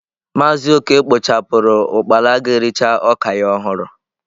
Maazị Okey kpochapuru ukpala ga-ericha oka ya ohuru.